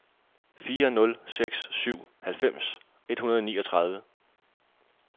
fire nul seks syv halvfems et hundrede og niogtredive